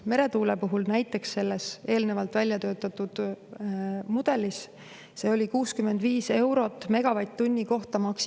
Meretuule puhul näiteks oli eelnevalt väljatöötatud mudelis maksimaalselt 65 eurot megavatt-tunni kohta.